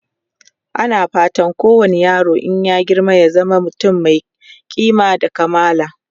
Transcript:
ana fatan kowani yaro in ya girma ya zama mutum Mai kima da kamala